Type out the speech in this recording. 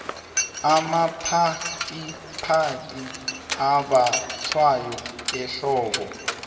amaphacaphaca ambathwa ehlobo